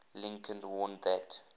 lincoln warned that